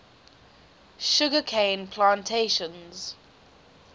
sugar cane plantations